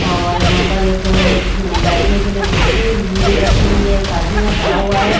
और यहां पर एक बैठने के लिए दूसरी मेज रखी हुई है एक आदमी यहां खड़ा हुआ है।